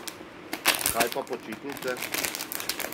Kaj pa počitnice?